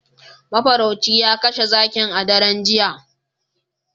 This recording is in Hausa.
Mafarauci ya kashe zakin a daren jiya